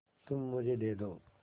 तुम मुझे दे दो